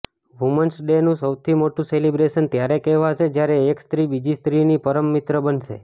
women's ડેનું સૌથી મોટું સેલિબ્રેશન ત્યારે કહેવાશે જ્યારે એક સ્ત્રી બીજી સ્ત્રીની પરમ મિત્ર બનશે